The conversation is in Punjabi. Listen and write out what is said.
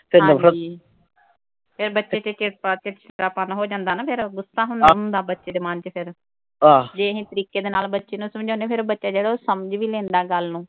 ਹਾਂਜੀ ਫਿਰ ਬੱਚੇ ਦੇ ਵਿੱਚ ਚਿੜਪਾ ਚਿੜਚਿੜਾਪਨ ਹੋ ਜਾਂਦਾ ਨਾ ਫਿਰ। ਉਹ ਗੁੱਸਾ ਹੁੰਦਾ ਬੱਚੇ ਦੇ ਮਨ ਵਿਚ ਫਿਰ, ਜੇ ਅਸੀਂ ਤਰੀਕੇ ਦੇ ਨਾਲ ਬੱਚੇ ਨੂੰ ਸਮਝਾਉਣੇ ਆ ਫਿਰ ਉਹ ਬੱਚਾ ਜਿਹੜਾ ਉਹ ਸਮਝ ਵੀ ਲੈਂਦਾ ਗੱਲ ਨੂੰ